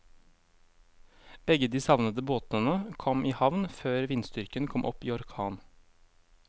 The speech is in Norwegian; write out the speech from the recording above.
Begge de savnede båtene kom i havn før vindstyrken kom opp i orkan.